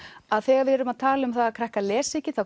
þegar við tölum um að krakkar lesi ekki